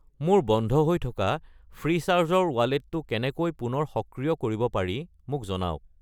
মোৰ বন্ধ হৈ থকা ফ্ৰীচাৰ্জ ৰ ৱালেটটো কেনেকৈ পুনৰ সক্ৰিয় কৰিব পাৰি মোক জনাওক।